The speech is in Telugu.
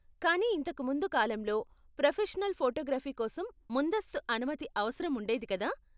కానీ ఇంతకు ముందు కాలంలో ప్రొఫెషనల్ ఫోటోగ్రఫీ కోసం ముందస్తు అనుమతి అవసరం ఉండేది కదా?